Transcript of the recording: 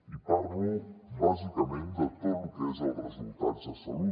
i parlo bàsicament de tot lo que són els resultats de salut